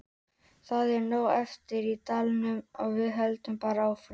Það er nóg eftir í deildinni og við höldum bara áfram.